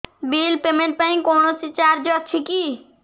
bill payment ପାଇଁ କୌଣସି charge ଅଛି କି